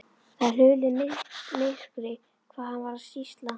Það er hulið myrkri hvað hann var að sýsla.